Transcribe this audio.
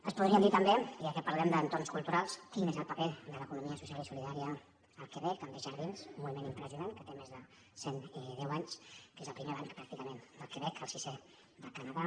ens podrien dir també ja que parlem d’entorns culturals quin és el paper de l’economia social i solidària al quebec amb desjardins un moviment impressionant que té més de cent deu anys que és el primer banc pràcticament del quebec el sisè del canadà